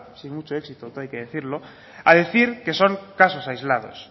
sin mucho éxito todo hay que decirlo a decir que son casos aislados